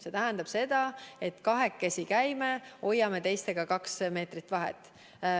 See tähendab seda, et kahekesi käime ja hoiame teistega kaks meetrit vahet.